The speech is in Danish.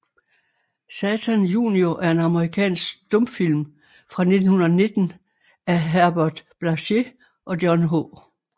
Satan Junior er en amerikansk stumfilm fra 1919 af Herbert Blaché og John H